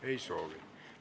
Ei soovi.